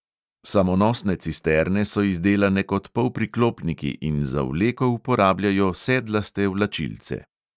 Samonosne cisterne so izdelane kot polpriklopniki in za vleko uporabljajo sedlaste vlačilce.